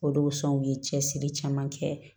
O de sɔn u ye cɛsiri caman kɛ